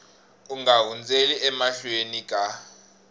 u nga hundzeli emahlweni ka